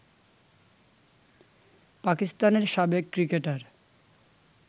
পাকিস্তানের সাবেক ক্রিকেটার